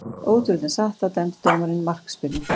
Ótrúlegt en satt, þá dæmdi dómarinn markspyrnu.